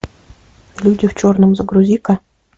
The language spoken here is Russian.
люди в черном загрузи ка